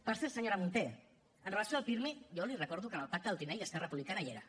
per cert senyora munté amb relació al pirmi jo li recordo que en el pacte del tinell esquerra republicana hi era